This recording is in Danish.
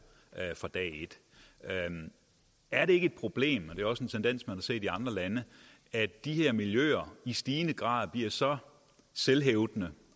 fra dag et er det ikke et problem og det er også en tendens man har set i andre lande at de her miljøer i stigende grad bliver så selvhævdende